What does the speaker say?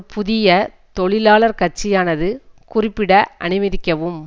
புதிய தொழிலாளர் கட்சியானது குறிப்பிட அனுமதிக்கவும்